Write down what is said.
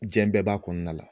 Diɲɛ bɛɛ b'a kɔnɔnada la